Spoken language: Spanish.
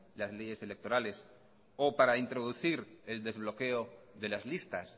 las leyes electorales o para introducir el desbloqueo de las listas